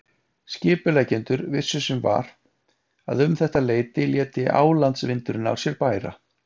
Skipuleggjendur vissu sem var að um þetta leyti léti álandsvindurinn á sér bæra.